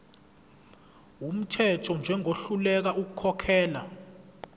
wumthetho njengohluleka ukukhokhela